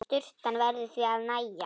Sturtan verður því að nægja.